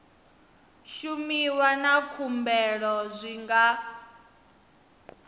shumiwa na khumbelo zwi nga